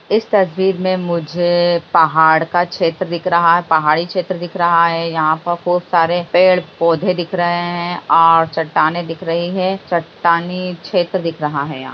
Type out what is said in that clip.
इस तस्वीर में मुझे पहाड़ का छेत्र दिख रहा है पहाड़ी छेत्र दिख रहा है। यहाँ पे खूब सारे पेड़-पौधे दिख रहें हैं और चट्टानें दिख रही है चट्टानी छेत्र दिख रहा है यहाँ।